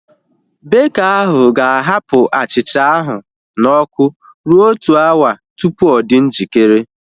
Beka ahu ga-ahapụ achịcha ahu na ọkụ rue otu awa tupu ọ dị njikere